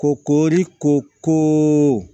Ko koori ko ko